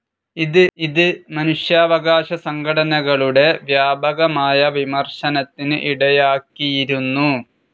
ഇത് മനുഷ്യാവകാശ സംഘടനകളുടെ വ്യാപകമായ വിമർശനത്തിന് ഇടയാക്കിയിരുന്നു.